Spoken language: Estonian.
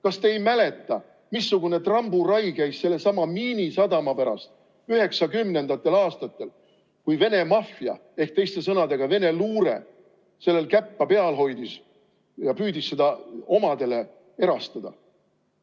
Kas te ei mäleta, missugune tramburai käis sellesama Miinisadama pärast 1990. aastatel, kui Vene maffia ehk teiste sõnadega Vene luure sellel käppa peal hoidis ja püüdis seda omadele erastada?